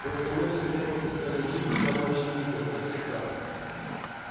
просто мы всё время упускали из виду самое очевидное как всегда